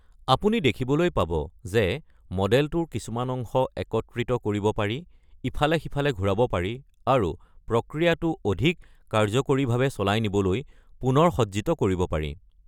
আপুনি দেখিবলৈ পাব যে মডেলটোৰ কিছুমান অংশ একত্ৰিত কৰিব পাৰি, ইফালে সিফালে ঘূৰাব পাৰি, আৰু প্ৰক্ৰিয়াটো অধিক কাৰ্যকৰীভাৱে চলাই নিবলৈ পুনৰসজ্জিত কৰিব পাৰি।